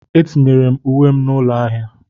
Etinyere m uwe m n'ụlọ ahịa.